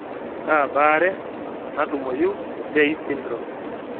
Kaa baare natumoyu te Tay syndrome?